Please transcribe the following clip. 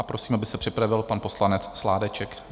A prosím, aby se připravil pan poslanec Sládeček.